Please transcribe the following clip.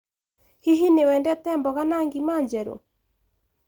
Hihi nĩ wendete mboga na ngima njerũ?